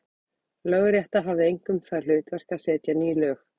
Lögrétta hafði einkum það hlutverk að setja ný lög.